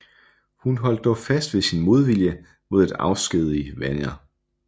Hun holdt dog fast ved sin modvilje mod at afskedige Wenner